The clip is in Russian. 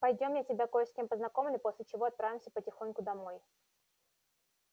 пойдём я тебя кое с кем познакомлю после чего отправимся потихоньку домой